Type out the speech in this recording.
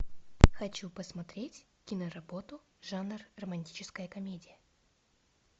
хочу посмотреть киноработу жанр романтическая комедия